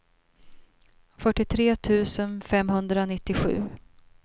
fyrtiotre tusen femhundranittiosju